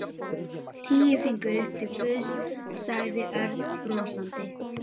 Tíu fingur upp til Guðs, sagði Örn brosandi.